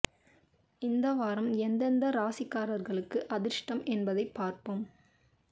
இந்த வாரம் எந்த எந்த ராசிக்காரர்களுக்கு அதிர்ஷ்டம் என்பதை பார்ப்போம்